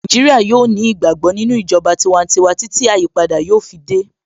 Naijiria yóò ní ìgbàgbọ́ nínú ìjọba tiwantiwa títí tí àyípadà yóò fi dé